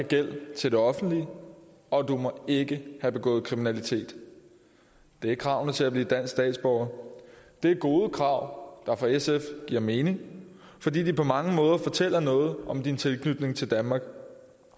gæld til det offentlige og at du ikke have begået kriminalitet det er kravene til at blive dansk statsborger det er gode krav der for sf giver mening fordi de på mange måder fortæller noget om din tilknytning til danmark